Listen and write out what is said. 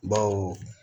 Baw